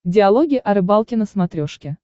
диалоги о рыбалке на смотрешке